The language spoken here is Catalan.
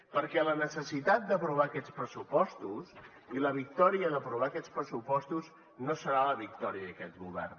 perquè la necessitat d’aprovar aquests pressupostos i la victòria d’aprovar aquests pressupostos no serà la victòria d’aquest govern